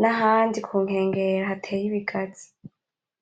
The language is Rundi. nahandi kunkengera hateye ibigazi.